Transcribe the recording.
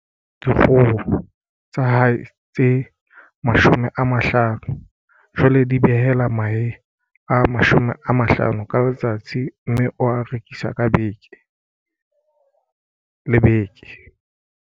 Dikgoho tsa hae tse 50 jwale di behela mahe a 50 ka letsatsi mme o a rekisa ka beke le beke.